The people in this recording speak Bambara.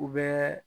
U bɛ